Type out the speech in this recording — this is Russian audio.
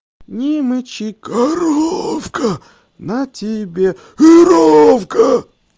не мычи коровка на тебе верёвка